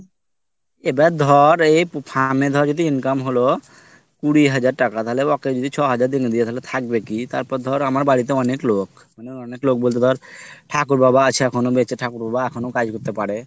আবার ধর এই farm এ যদি ধর income হল কুড়ি হাজার টাকা তাহলে ওকে যদি দিয়ে দি ছয় হাজার টাকা তাহলে থাকবে কি তারপর ধর আমার বাড়িতে অনেক লোক মানে অনেক লোক বলতে ধর ঠাকুরবাবা এখনো আছে বেঁচে ঠাকুরবাবা এখনো কাজ করতে পারে